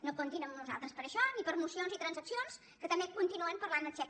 no comptin amb nosaltres per a això ni per a mocions i transaccions que també continuen parlant del xec